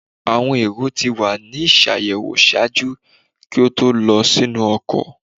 Awọn erò ti wa ni ṣayẹwo ṣaaju ki o to lọ sinu ọkọ